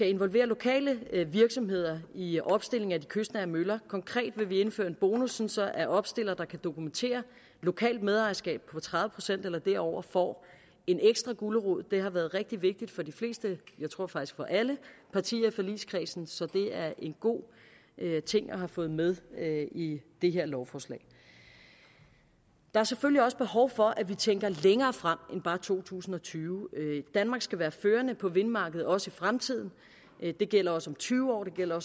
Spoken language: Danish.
involvere lokale virksomheder i opstillingen af de kystnære møller konkret vil vi indføre en bonus så at opstillere der kan dokumentere lokalt medejerskab på tredive procent eller derover får en ekstra gulerod det har været rigtig vigtigt for de fleste jeg tror faktisk for alle partier i forligskredsen så det er en god ting at have fået med i det her lovforslag der er selvfølgelig også behov for at vi tænker længere frem end bare to tusind og tyve danmark skal være førende på vindmarkedet også i fremtiden det gælder også om tyve år det gælder